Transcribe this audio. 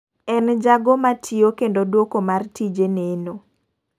En jago matiyo kendo duoko mar tije neno